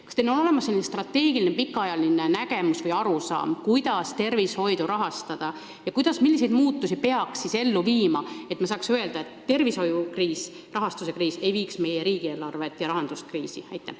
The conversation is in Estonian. Kas teil on olemas strateegiline pikaajaline nägemus või arusaam, kuidas tervishoidu rahastada, ja milliseid muutusi peaks ellu viima, et me saaksime öelda, et tervishoiu rahastamise kriis ei vii kriisi meie riigieelarvet ja rahandust?